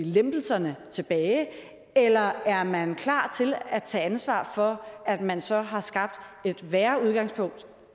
lempelserne tilbage eller er man klar til at tage ansvar for at man så har skabt et værre udgangspunkt